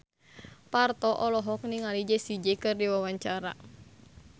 Parto olohok ningali Jessie J keur diwawancara